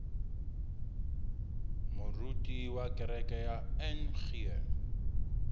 moruti wa kereke ya ng